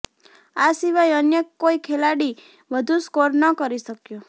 આ સિવાય અન્ય કોઈ ખેલાડી વધુ સ્કોર ન કરી શક્યો